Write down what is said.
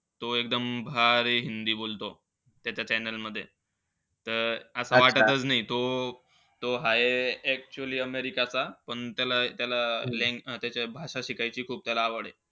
तो एकदम भारी हिंदी बोलतो त्याच्या channel मध्ये. त असं वाटतचं नई तो अं तो हाये actually अमेरिकेचा पण त्याला-त्याला त्याचं भाषा शिकायची त्याला खूप आवडे.